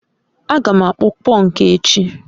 a ga m akpụ pọnkụ echi